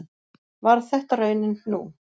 Varð þetta raunin nú